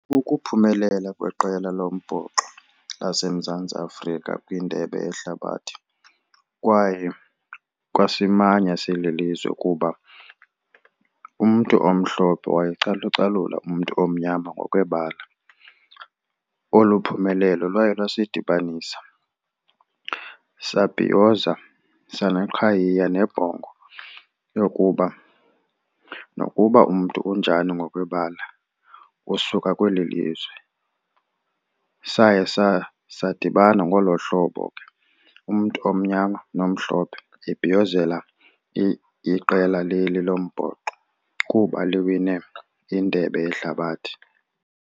Ukuphumelela kweqela lombhoxo laseMzantsi Afrika kwindebe yehlabathi kwaye kwasimanya sililizwe kuba umntu omhlophe wayecalucalula umntu omnyama ngokwebala. Olu phumelelo lwaye lwasidibanisa sabhiyoza saneqhayiya nebhongo lokuba nokuba umntu unjani ngokwebala usuka kweli lizwe, saye sadibana ngolo hlobo ke. Umntu omnyama nomhlophe ebhiyozela iqela leli lombhoxo kuba liwine indebe yehlabathi.